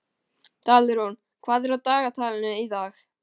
Dalrún, hvað er á dagatalinu í dag?